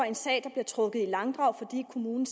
en sag der bliver trukket i langdrag fordi kommunen